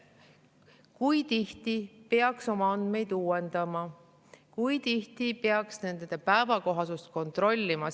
Kui tihti peaks oma andmeid uuendama, kui tihti peaks nende päevakohasust kontrollima?